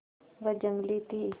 वह जंगली थी